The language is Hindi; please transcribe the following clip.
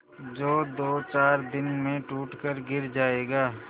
जो दोचार दिन में टूट कर गिर जाएगा